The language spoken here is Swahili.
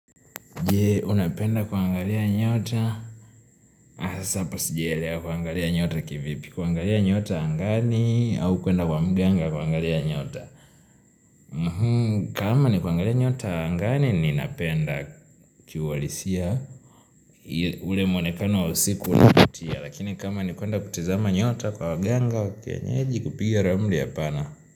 Je unapenda kuangalia nyota Hasa hapa sijaelewa kuangalia nyota kivipi kuangalia nyota angani au kuenda kwa mganga kuangalia nyota kama ni kuangalia nyota angani ninapenda kiuhalisia ule mwonekano wa usiku unavutia Lakini kama ni kuenda kutazama nyota kwa waganga wa kienyeji kupiga ramli hapana.